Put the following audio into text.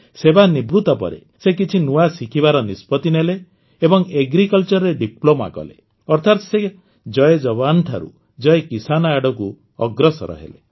ସେବାନିବୃତ୍ତି ପରେ ସେ କିଛି ନୂଆ ଶିଖିବାର ନିଷ୍ପତ୍ତି ନେଲେ ଏବଂ କୃଷିରେ ଡିପ୍ଲୋମା କଲେ ଅର୍ଥାତ୍ ସେ ଜୟ ଜୱାନ୍ଠାରୁ ଜୟ କିଷାନ୍ ଆଡ଼କୁ ଅଗ୍ରସର ହେଲେ